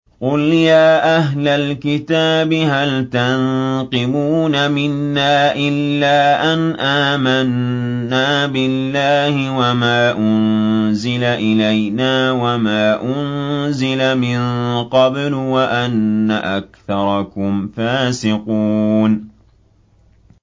قُلْ يَا أَهْلَ الْكِتَابِ هَلْ تَنقِمُونَ مِنَّا إِلَّا أَنْ آمَنَّا بِاللَّهِ وَمَا أُنزِلَ إِلَيْنَا وَمَا أُنزِلَ مِن قَبْلُ وَأَنَّ أَكْثَرَكُمْ فَاسِقُونَ